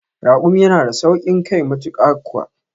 Raƙumi yana da sauƙin kai matuƙa kuwa